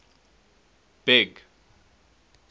big